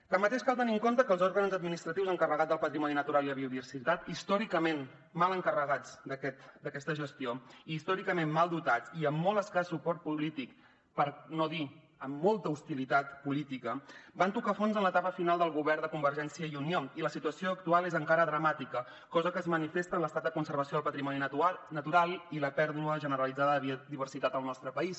tanmateix cal tenir en compte que els òrgans administratius encarregats del patrimoni natural i la biodiversitat històricament mal encarregats d’aquesta gestió i històricament mal dotats i amb molt escàs suport polític per no dir amb molta hostilitat política van tocar fons en l’etapa final del govern de convergència i unió i la situació actual és encara dramàtica cosa que es manifesta en l’estat de conservació del patrimoni natural i la pèrdua generalitzada de biodiversitat al nostre país